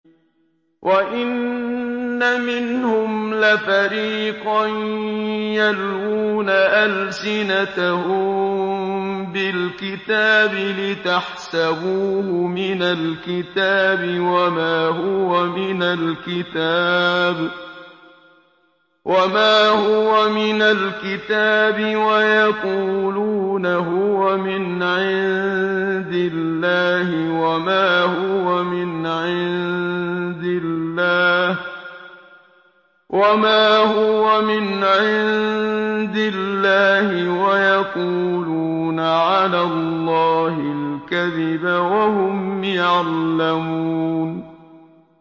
وَإِنَّ مِنْهُمْ لَفَرِيقًا يَلْوُونَ أَلْسِنَتَهُم بِالْكِتَابِ لِتَحْسَبُوهُ مِنَ الْكِتَابِ وَمَا هُوَ مِنَ الْكِتَابِ وَيَقُولُونَ هُوَ مِنْ عِندِ اللَّهِ وَمَا هُوَ مِنْ عِندِ اللَّهِ وَيَقُولُونَ عَلَى اللَّهِ الْكَذِبَ وَهُمْ يَعْلَمُونَ